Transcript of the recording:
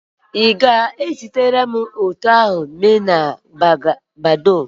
Ị ga-ẹzitara m foto ahụ na Badoo?